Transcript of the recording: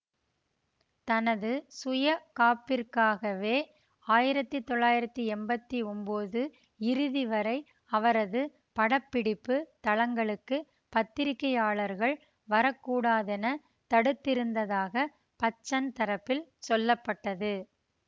தனது சுயகாப்பிற்காகவே ஆயிரத்தி தொள்ளாயிரத்தி எம்பத்தி ஒன்போது இறுதி வரை அவரது படப்பிடிப்புத் தளங்களுக்குப் பத்திரிகையாளர்கள் வரக்கூடாதெனத் தடுத்திருந்ததாக பச்சன் தரப்பில் சொல்ல பட்டது